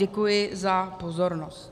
Děkuji za pozornost.